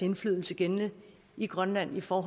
indflydelse gældende i grønland for